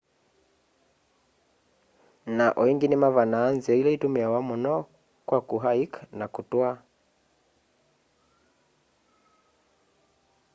na o ingi nimavanaa nzia ila itumiawa muno kwa ku hike na kutwaa